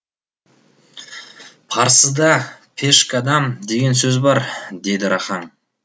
парсыда пешкадам деген сөз бар деді рахаң